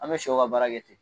An bɛ sɛw ka baara kɛ ten